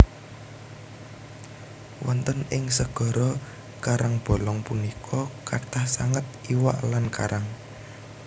Wonten ing segara karangbolong punika kathah sanget iwak lan karang